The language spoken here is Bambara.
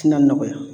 Ti na nɔgɔya